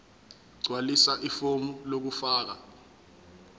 gqwalisa ifomu lokufaka